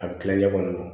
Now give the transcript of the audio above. A bɛ tila ɲɛ kɔnɔ